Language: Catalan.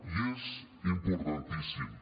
i és importantíssim